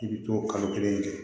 I bi to kalo kelen kɛ